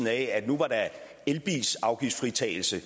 af at nu var der afgiftsfritagelse